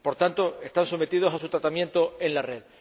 Por tanto, están sometidos a su tratamiento en la red.